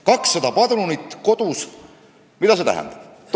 200 padrunit kodus, mida see tähendab?